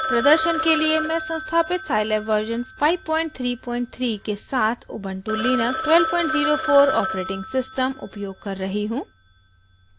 प्रदर्शन के लिए मैं संस्थापित scilab वर्शन 533 के साथ उबन्टु लिनक्स 1204 ऑपरेटिंग सिस्टम उपयोग कर रही हूँ